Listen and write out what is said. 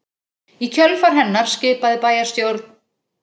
Í kjölfar hennar skipaði bæjarstjórn